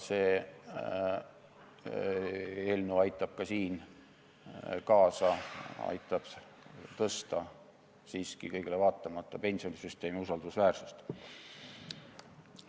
See eelnõu aitab ka siin kaasa, see aitab siiski kõigele vaatamata suurendada pensionisüsteemi usaldusväärsust.